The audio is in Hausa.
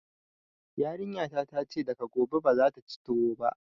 Yarinya ta ta ce daga gobe bazata ci tuwo ba